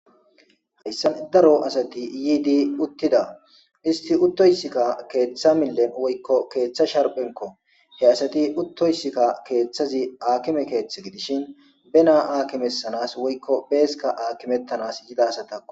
hayssan daro asati yiidi uttida isti uttoysikka keeththa millen woykko keeththa sharphenko he asati uttoysikka keeththazi aakime keethth gidishin bena aakimesanas woykko beesika aakimettanas yidasatao